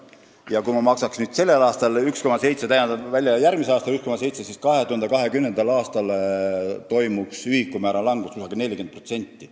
Ja kui ma maksaks nii sellel kui ka järgmisel aastal veel 1,7 miljonit välja, siis langeks 2020. aastal ühikumäär umbes 40%.